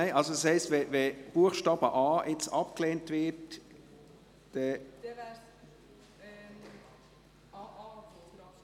Das heisst also, wenn Buchstabe a jetzt abgelehnt wird, dann ...